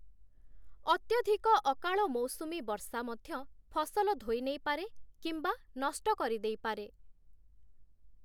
ଅତ୍ୟଧିକ ଅକାଳ ମୌସୁମୀ ବର୍ଷା ମଧ୍ୟ ଫସଲ ଧୋଇ ନେଇପାରେ କିମ୍ବା ନଷ୍ଟ କରିଦେଇପାରେ ।